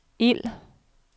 ild